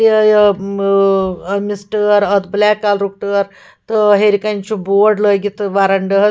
ا یہِ م أمِس ٹٲر اَتھ بلیک کلرُک ٹٲر تہٕ ہیٚرِکنہِ چُھ بورڈ لٲگِتھ تہٕ ورنڈہس